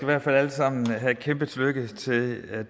hvert fald alle sammen have et kæmpe tillykke med at